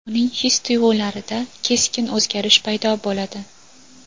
uning his-tuyg‘ularida keskin o‘zgarish paydo bo‘ladi.